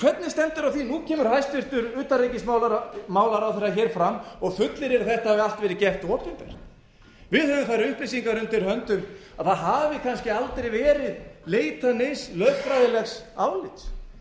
hvernig stendur á því að nú kemur hæstvirtur utanríkismálaráðherra hér fram og fullyrðir að þetta hafi allt verið gert opinbert við höfum þær upplýsingar undir höndum að það hafi kannski aldrei verið leitað neins lögfræðilegs álits